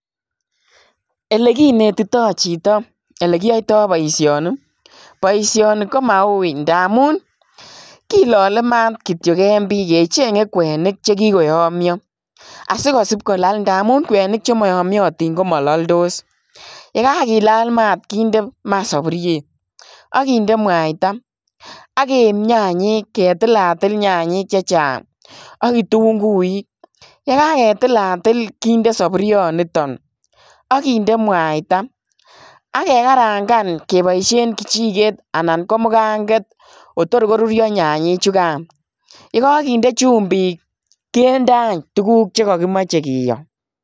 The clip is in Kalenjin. Ele kinetitoi chitoo ele kiyaitaai boisioni ii boisioni komawui ndamuun kilale maat kityoi en Bii kechengei kwenik chekikoyamyai asi kosipkolal ngamuun ndamuun kwenik che maa yamyantiin ii ko ma laldos ye kakilaal maat ii kinde ama saburuiet ak gindei mwaita aggeib chanyeek ketilatil nyanyek chechang ak gituguuik ye kagetilatil kinde saburuiet nitoon agindei mwaita age ke karangaan kebaisheen kechikeet anan ko mugangeet kotoor koruria nyanyek chukaan ye kagindei chumbiik kinde aany tuguk che kagimachei kityoi.